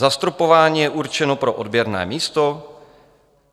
Zastropování je určeno pro odběrné místo.